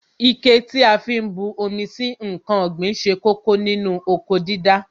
Ike tí a fi ń bu omi sí ǹkan ọ̀gbìn ṣe kókó nínú oko dídá